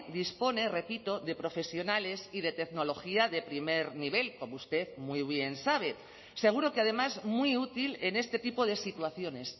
dispone repito de profesionales y de tecnología de primer nivel como usted muy bien sabe seguro que además muy útil en este tipo de situaciones